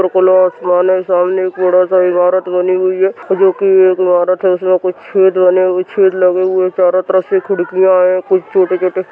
आसमान है सामने एक बड़ा सा इमारत बनी हुई है जो की एक इमारत है इसमें कुछ छेद बने हुए छेद लगे हुए चारो तरफ से खिड़कियां हैं कुछ छोटे छोटे --